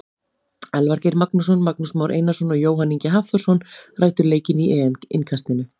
Elvar Geir Magnússon, Magnús Már Einarsson og Jóhann Ingi Hafþórsson ræddu leikinn í EM innkastinu.